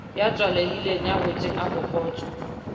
ya tswalehileng ya hotseng abokotswa